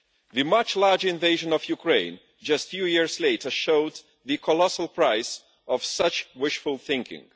The much larger invasion of Ukraine just a few years later showed the colossal price of such wishful thinking.